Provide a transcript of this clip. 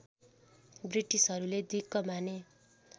ब्रिटिसहरूले दिक्क माने